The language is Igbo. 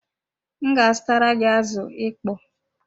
M ga azutara gị azụ ịkpọ